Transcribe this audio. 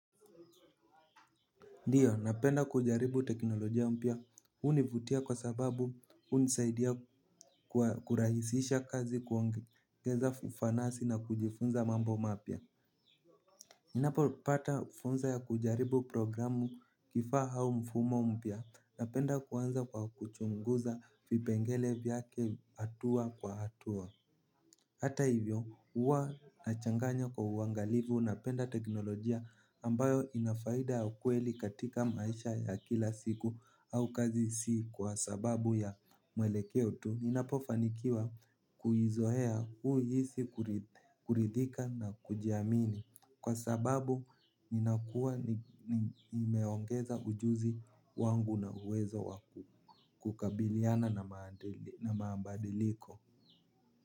Ndiyo napenda kujaribu teknolojia mpya hunivutia kwa sababu hunisaidia kurahisisha kazi kuongeza fanasi na kujifunza mambo mapya. Ninapo pata fursa ya kujaribu programu vifaa au mfumo mpya napenda kuanza kwa kuchunguza vipengele vyake hatua kwa hatua hata hivyo huwa nachanganya kwa uangalifu napenda teknolojia ambayo inafaida ya ukweli katika maisha ya kila siku au kazi si kwa sababu ya mwelekeo tu. Ninapofanikiwa kuizoea huhisi kuridhika na kujiamini kwa sababu ninakuwa imeongeza ujuzi wangu na uwezo wakukabiliana na mabadiliko.